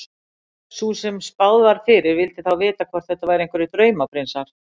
Sú sem spáð var fyrir vildi þá vita hvort þetta væru einhverjir draumaprinsar.